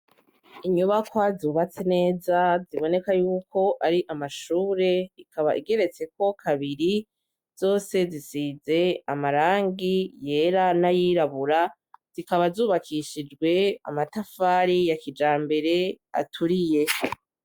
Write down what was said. Inyubakwa zubatse neza ziboneka yuko ari amashure ikaba igeretse ko kabiri zose zisize amarangi yera n'ayirabura zikaba zubakishijwe amatafari ya kijambere aturiye.